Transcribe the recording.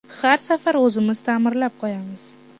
Har safar o‘zimiz ta’mirlab qo‘yamiz.